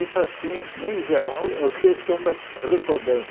Isso assim, em geral, é o que eu estou me recordando.